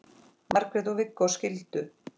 Margrét og Viggó skildu.